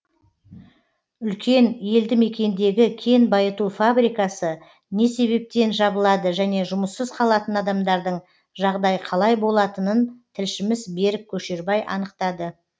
үлкен елді мекендегі кен байыту фабрикасы не себептен жабылады және жұмыссыз қалатын адамдардың жағдайы қалай болатынын тілшіміз берік көшербай анықтады